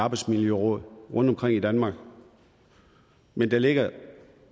arbejdsmiljøråd rundtomkring i danmark men der ligger